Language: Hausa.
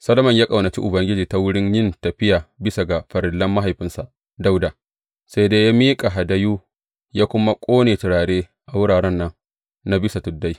Solomon ya ƙaunaci Ubangiji ta wurin yin tafiya bisa ga farillan mahaifinsa Dawuda, sai dai ya miƙa hadayu, ya kuma ƙone turare a wuraren nan na bisa tuddai.